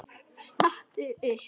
Stattu upp!